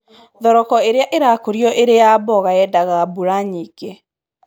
Thoroko ĩrĩa ĩrakũrio ĩrĩ ya mboga yendaga mbura nyingĩ